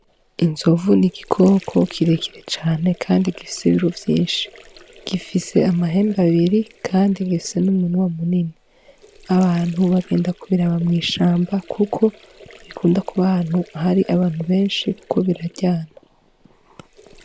Inzovu n'igikoko kirekire cane kandi gifise ibiro vyishi gifise amahembe abiri kandi gifise n'umunwa munini abantu bagenda ku biraba mw’ishamba kuko nti bikunda kuba ahantu hari abantu beshi kuko biraryana.